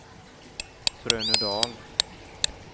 Trönödal